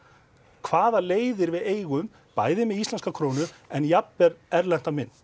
hvaða leiðir við eigum bæði með íslenska krónu en jafnvel erlenda mynt